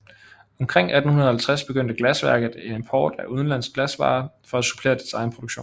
Omkring 1850 begyndte glasværket en import af udenlandske glasvarer for at supplere dets egen produktion